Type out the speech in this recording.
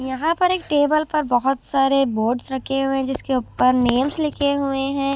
यहां पर एक टेबल पर बहोत सारे बोर्ड्स रखे हुए जिसके उपर नेम्स लिखे हुए है।